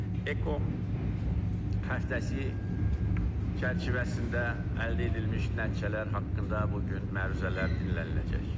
Eko xəritəsi çərçivəsində əldə edilmiş nəticələr haqqında bu gün məruzələr dinləniləcək.